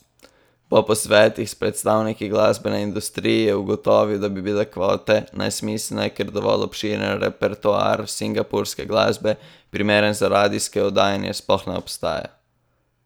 Po posvetih s predstavniki glasbene industrije je ugotovil, da bi bile kvote nesmiselne, ker dovolj obširen repertoar singapurske glasbe, primerne za radijsko oddajanje, sploh ne obstaja!